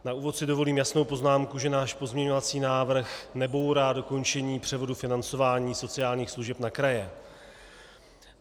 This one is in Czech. Na úvod si dovolím jasnou poznámku, že náš pozměňovací návrh nebourá dokončení převodu financování sociálních služeb na kraje.